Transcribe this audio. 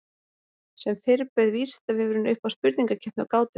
Sem fyrr bauð Vísindavefurinn upp á spurningakeppni og gátur.